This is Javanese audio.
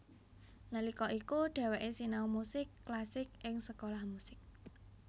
Nalika iku dheweké sinau musik klasik ing Sekolah musik